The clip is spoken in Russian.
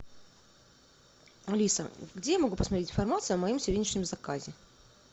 алиса где я могу посмотреть информацию о моем сегодняшнем заказе